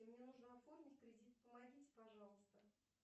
мне нужно оформить кредит помогите пожалуйста